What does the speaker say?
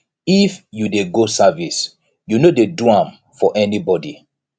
if you dey go service you no dey do am for anybodi